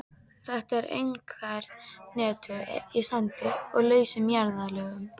Þetta er einkar hentugt í sandi og lausum jarðlögum.